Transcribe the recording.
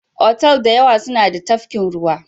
Otal da yawa suna da tafkin ruwa.